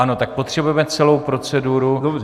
Ano, tak potřebujeme celou proceduru.